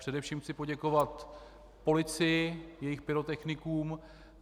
Především chci poděkovat policii, jejich pyrotechnikům.